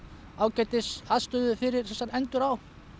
ágætis aðstöðu fyrir endur á